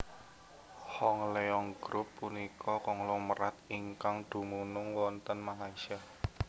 Hong Leong Group punika konglomerat ingkang dumunung wonten Malaysia